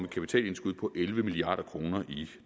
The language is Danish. kapitalindskud på elleve milliard kroner i